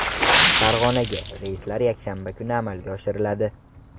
Farg‘onaga reyslar yakshanba kunlari amalga oshiriladi.